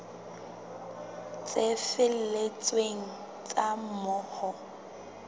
tse felletseng tsa moo ho